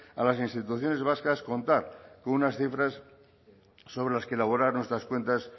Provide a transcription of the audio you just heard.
a las instituciones vascas contar con unas cifras sobre las que elaborar nuestras cuentas